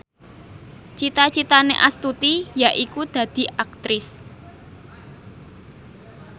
cita citane Astuti yaiku dadi Aktris